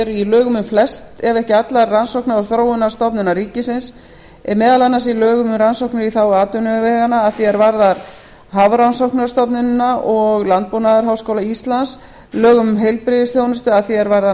í lögum um flestar ef ekki allar rannsókna og þróunarstofnanir ríkisins meðal annars í lögum um rannsóknir í þágu atvinnuveganna að því er varðar hafrannsóknastofnunina og landbúnaðarháskóla íslands lögum um heilbrigðisþjónustu að því er varðar